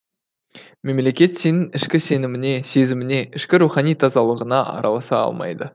мемлекет сенің ішкі сеніміңе сезіміңе ішкі рухани тазалығыңа араласа алмайды